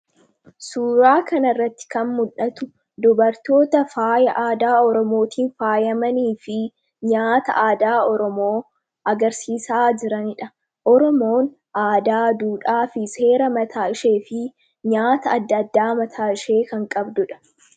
suuraa kana irratti kan muldhatu dubartoota faaya aadaa oromootiin faayyamanii fi nyaata aadaa oromoo agarsiisaa jiranidha. Oromoon aadaa duudhaa fi seera mataa ishee fi nyaata adda-addaa mataa ishee kan qabdudha.